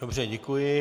Dobře, děkuji.